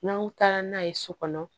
N'an taara n'a ye so kɔnɔ